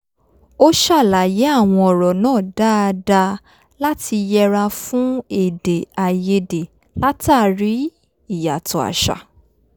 ó ṣàlàyé àwọn ọ̀rọ̀ náà dáadáa láti yẹra fún èdè àìyedè látàrí ìyàtọ̀ àṣà